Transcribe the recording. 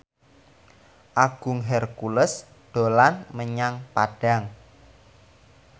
Agung Hercules dolan menyang Padang